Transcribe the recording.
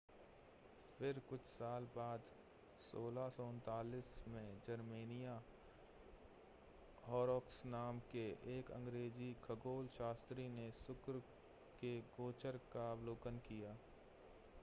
फिर कुछ साल बाद 1639 में जेरेमिया हॉरोक्स नाम के एक अंग्रेज़ी खगोलशास्त्री ने शुक्र के गोचर का अवलोकन किया